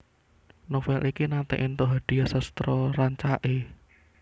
Novel iki naté éntuk Hadhiah Sastra Rancage